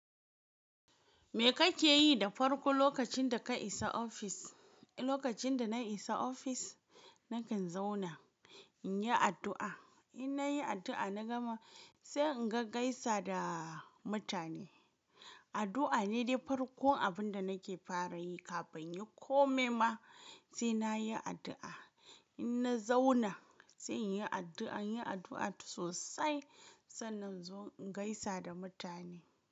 Me kake yi da farko lokacin da ka isa ofis? Lokacin da na isa ofis, nakan zauna, in yi addu'a. In na yi addu'a, na gama sai in gai gaisa da mutane. Addu'a ne dai farkon abin da nake fara yi kafin in yi kome ma sai na yi addu'a. In na zauna, sai in yi addu'a, in yi addu'a sosai sannan inzo in gaisa da mutane.